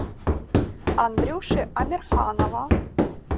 андрюши амирханова